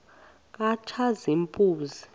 katshazimpuzi